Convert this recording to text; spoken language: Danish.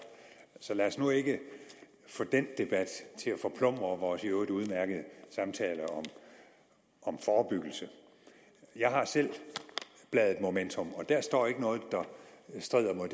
så lad os nu ikke få den debat til at forplumre vores i øvrigt udmærkede samtale om forebyggelse jeg har selv bladet momentum og der står ikke noget der strider mod